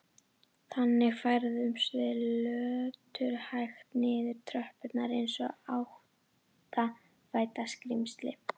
Þannig færðumst við löturhægt niður tröppurnar eins og áttfætt skrímsli.